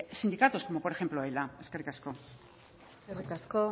sindicados como por ejemplo ela eskerrik asko eskerrik asko